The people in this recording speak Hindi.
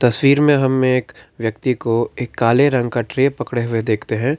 तस्वीर में हम एक व्यक्ति को एक काले रंग का ट्रे पकड़े हुए देखते है।